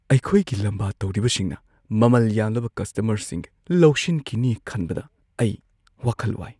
ꯑꯩꯈꯣꯏꯒꯤ ꯂꯝꯕꯥ ꯇꯧꯔꯤꯕꯁꯤꯡꯅ ꯃꯃꯜ ꯌꯥꯝꯂꯕ ꯀꯁꯇꯃꯔꯁꯤꯡ ꯂꯧꯁꯤꯟꯈꯤꯅꯤ ꯈꯟꯕꯗ ꯑꯩ ꯋꯥꯈꯜ ꯋꯥꯏ ꯫